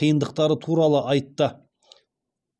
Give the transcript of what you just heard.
қиындықтары туралы айтты